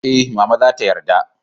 eh, mama za ta yarda